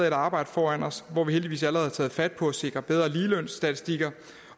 et arbejde foran os og vi har heldigvis allerede taget fat på at sikre bedre ligelønsstatistikker